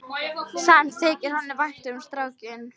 Samt þykir honum vænt um strákinn.